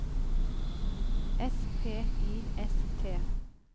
S P I S T